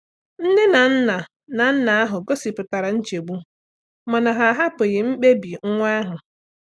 Nne na nna na nna ahụ gosipụtara nchegbu mana ha ahapụghị mkpebi nwa ahụ.